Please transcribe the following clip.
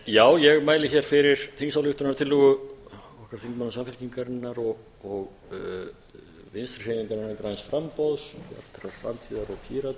virðulegi forseti ég mæli hér fyrir þingsályktunartillögu okkar þingmanna samfylkingarinnar og vinstri hreyfingarinnar græns framboðs bjartrar